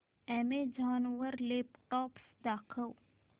Amazon वर laptops दाखव